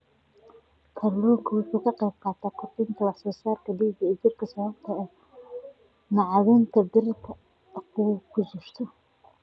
Kalluunku waxa uu ka qaybqaataa kordhinta wax soo saarka dhiigga ee jidhka sababtoo ah macdanta birta ah ee ku jirta.